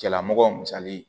Cɛlamɔgɔ misali